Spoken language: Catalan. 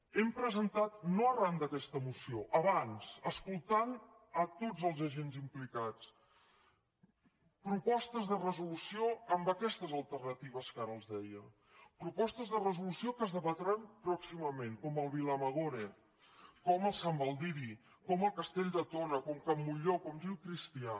hem presentat no arran d’aquesta moció abans escoltant tots els agents implicats propostes de resolució amb aquestes alternatives que ara els deia propostes de resolució que es debatran pròximament com el vilamagore com el sant baldiri com el castell de tona com can montllor com gil cristià